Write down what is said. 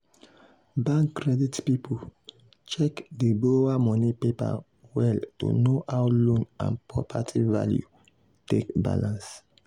bank credit people check di borrower money paper well to know how loan and property value take balance.